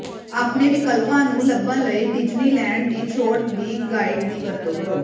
ਆਪਣੇ ਵਿਕਲਪਾਂ ਨੂੰ ਲੱਭਣ ਲਈ ਡਿਜ਼ਨੀਲੈਂਡ ਦੀ ਛੋਟ ਦੀ ਗਾਈਡ ਦੀ ਵਰਤੋਂ ਕਰੋ